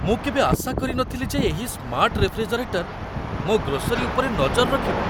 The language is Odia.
ମୁଁ କେବେ ଆଶା କରିନଥିଲି ଯେ ଏହି ସ୍ମାର୍ଟ ରେଫ୍ରିଜେରେଟର୍ ମୋ ଗ୍ରୋସରୀ ଉପରେ ନଜର ରଖିବ!